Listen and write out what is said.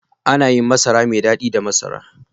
Ana yin masara mai dadi da masara.